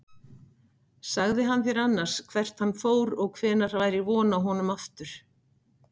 Sagði hann þér annars hvert hann fór og hvenær væri von á honum aftur?